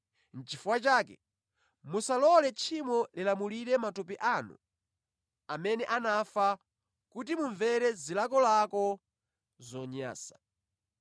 Nʼchifukwa chake, musalole tchimo lilamulire matupi anu amene anafa kuti mumvere zilakolako zonyansa.